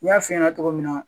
N y'a f'i ɲɛna cogo min na